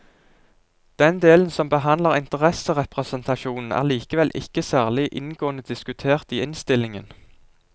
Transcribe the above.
Den delen som behandler interesserepresentasjonen er likevel ikke særlig inngående diskutert i innstillingen.